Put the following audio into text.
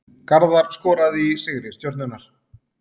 Garðar skoraði í sigri Stjörnunnar